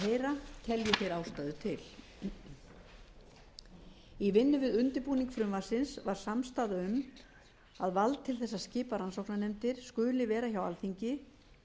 ástæðu til í vinnu við undirbúning frumvarpsins var samstaða um að vald til þess að skipa rannsóknarnefndir skuli vera hjá alþingi